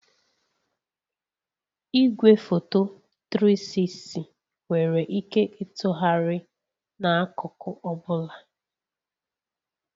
Igwefoto 360 nwere ike ịtụgharị n'akụkụ ọ bụla